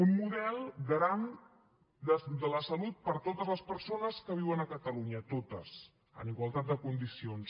un model garant de la salut per a totes les persones que viuen a catalunya totes en igualtat de condicions